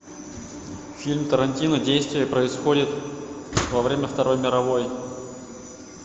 фильм тарантино действие происходит во время второй мировой